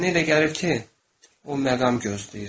Mənə elə gəlir ki, o məqam gözləyir.